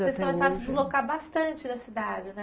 E aí vocês começaram a se deslocar bastante da cidade, né?